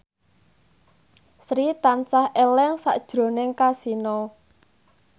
Sri tansah eling sakjroning Kasino